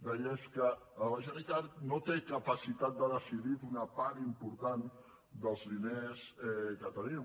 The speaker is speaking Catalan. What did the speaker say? deia és que la generalitat no té capacitat de decidir d’una part important dels diners que tenim